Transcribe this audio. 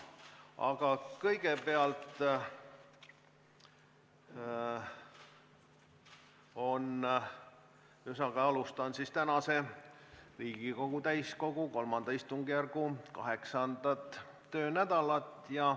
Aga kõigepealt alustan siis Riigikogu täiskogu III istungjärgu 8. töönädalat.